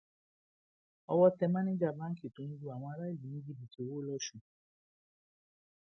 owó tẹ máníjà báǹkì tó ń lu àwọn aráàlú ní jìbìtì owó lọsùn